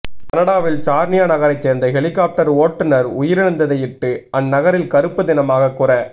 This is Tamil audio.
கனடாவின் சார்னியா நகரைச் சேர்ந்த ஹெலிகொப்டர் ஓட்டுனர் உயிரிழந்ததையிட்டு அந்நகரின் கறுப்பு தினமாக குற